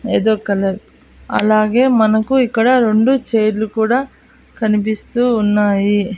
ఏదో కలర్ అలాగే మనకు ఇక్కడ రెండు చైర్లు కూడా కనిపిస్తూ ఉన్నాయి.